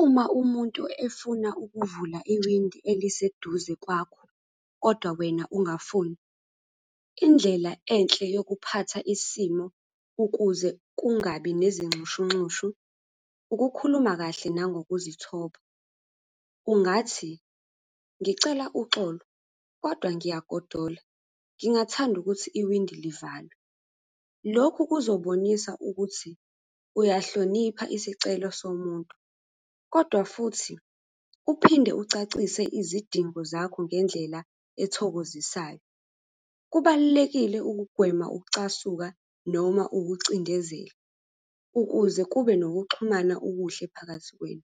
Uma umuntu efuna ukuvula iwindi eliseduze kwakho, kodwa wena ungafuni, indlela enhle eyokuphatha isimo, ukuze kungabi nezinxushunxushu. Ukukhuluma kahle nangokuzithoba, ungathi, ngicela uxolo, kodwa ngiyagodola, ngingathanda ukuthi iwindi livalwe. Lokhu kuzobonisa ukuthi uyahlonipha isicelo somuntu, kodwa futhi uphinde ucacise izidingo zakho ngendlela ethokozisayo. Kubalulekile ukugwema ukucasuka noma ukucindezela, ukuze kube nokuxhumana okuhle phakathi kwenu.